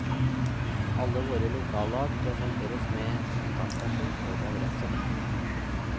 Alle våre lokallag presenteres med kontaktperson og adresse.